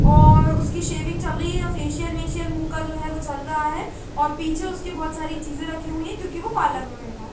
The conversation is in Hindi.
और उसकी शेविंग चल रही है और फेशियल वेशियल मुह का है जो चल रहा है और पीछे उसके बोहोत साडी चीज़े राखी हुई है क्युकी वो पार्लर में बेठा है।